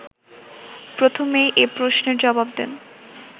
প্রথমেই এ প্রশ্নের জবাব দেন